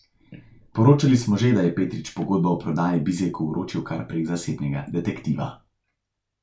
Poročali smo že, da je Petrič pogodbo o prodaji Bizjaku vročil kar prek zasebnega detektiva.